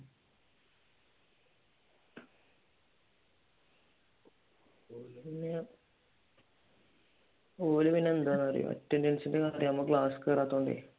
or പിന്നെ എന്താന്ന് അറിയാമോ അറ്റൻഡൻസിന്റെ കാര്യം ആകുമ്പോ ക്ലാസ്സിൽ കേറാത്തൊണ്ടേ